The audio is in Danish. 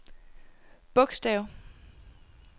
bogstav